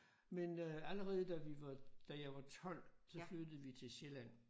Men øh allerede da vi var da jeg var 12 så flyttede vi til Sjælland